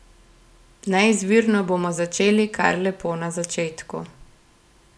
Neizvirno bomo začeli kar lepo na začetku.